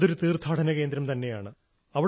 അതൊരു തീർത്ഥാടന കേന്ദ്രം തന്നെയാണ്